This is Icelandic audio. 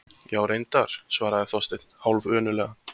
Já, reyndar- svaraði Þorsteinn hálfönuglega.